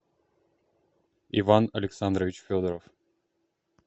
иван александрович федоров